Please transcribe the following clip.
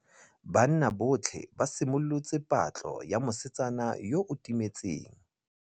Banna botlhê ba simolotse patlô ya mosetsana yo o timetseng.